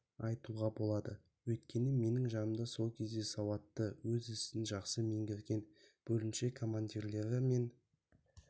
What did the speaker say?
айтуға болады өйткені менің жанымда сол кезде сауатты өз ісін жақсы меңгерген бөлімше командирлері мен